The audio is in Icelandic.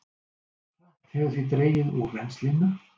Hratt hefur því dregið úr rennslinu